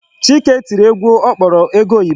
Chike tiri egwu ọ kpọrọ ego oyibo.